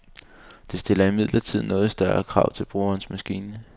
Det stiller imidlertid noget større krav til brugerens maskine.